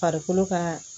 Farikolo ka